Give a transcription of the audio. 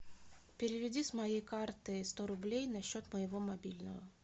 переведи с моей карты сто рублей на счет моего мобильного